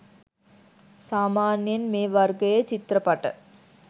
සාමාන්‍යයෙන් මේ වර්ගයේ චිත්‍රපට